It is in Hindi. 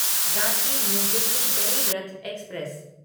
Ranchi New Delhi Garib Rath express